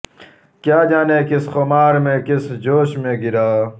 کیا جانے کس خمار میں کس جوش میں گرا